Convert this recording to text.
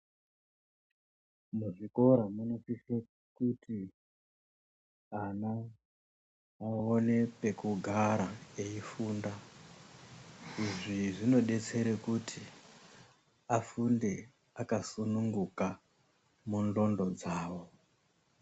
Muzvikora munosise kuti ana aone pekugara eifunda izvi zvinodetsere kuti afunde akasununguka mundxondo dzawo.